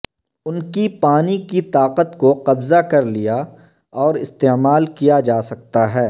ان کی پانی کی طاقت کو قبضہ کر لیا اور استعمال کیا جا سکتا ہے